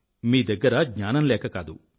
మీ దగ్గర జ్ఞానం లేక కాదు